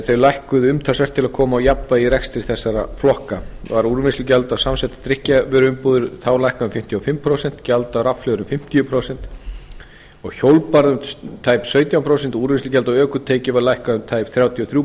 þeir lækkuðu umtalsvert til að koma á jafnvægi í rekstri þessara flokka var úrvinnslugjald af samsettum drykkjarvöruumbúðum þá lækkað um fimmtíu og fimm prósent gjald á rafhlöður um fimmtíu prósent hjólbarða um tæp sautján prósent og úrvinnslugjald á ökutæki var lækkað um tæp þrjátíu og þrjú